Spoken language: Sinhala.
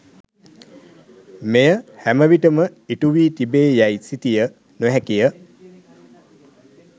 මෙය හැම විටම ඉටුවී තිබේ යැයි සිතිය නොහැකිය.